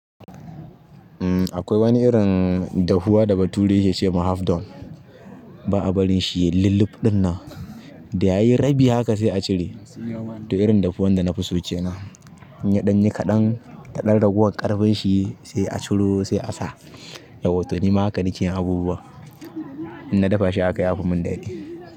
Uhm, akwai wani irin dahuwa da bature ya ke ce ma half dawn. Ba a barin shi ya yi lulluf ɗin nan. Da ya yi rabi haka sai a cire. To irin dafuwan da na fi so kenan. In ya ɗan yi kaɗan, ka ɗan ragowan ƙarfin shi sai a ciro sai a sa. Yawwa to ni ma haka na ke yin abubuwan, in na dafa shi a haka ya fi min daɗi.